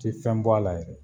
Ti fɛn bɔ a la yɛrɛ